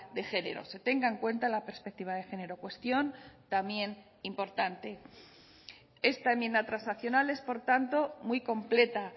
de género se tenga en cuenta la perspectiva de género cuestión también importante esta enmienda transaccional es por tanto muy completa